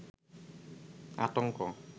আতংক